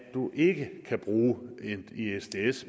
du ikke kan bruge en isds